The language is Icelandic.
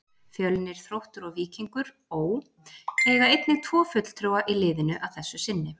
Fjölnir, Þróttur og Víkingur Ó. eiga einnig tvo fulltrúa í liðinu að þessu sinni.